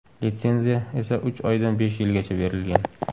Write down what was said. Litsenziya esa uch oydan besh yilgacha berilgan.